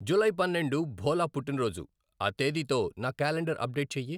July పన్నెండు భోలా పుట్టినరోజు, ఈ తేదీతో నా క్యాలెండర్ అప్డేట్ చెయ్యి.